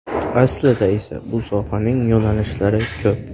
Aslida esa bu sohaning yo‘nalishlari ko‘p.